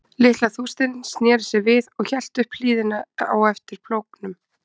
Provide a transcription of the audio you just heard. Litla þústin sneri sér við og hélt upp hlíðina á eftir plógnum.